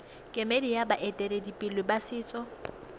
kemedi ya baeteledipele ba setso